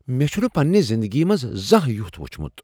مےٚ چھنہٕ پننِہ زندگی منٛز زانٛہہ یُتھ وچھمُت!